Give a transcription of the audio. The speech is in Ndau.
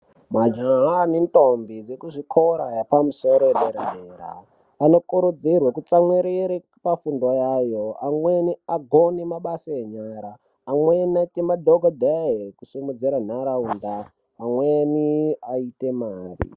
Majaha nentombi vekuzvikora yepamusoro yedera dera anokurudzirwe kutsamwirire pafundo yavo, amweni agone mabasa enyara, amweni aite madhokodheya ekusimudzire nharaunda amweni aite mare.